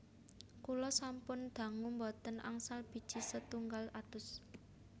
Kula sampun dangu mboten angsal biji setunggal atus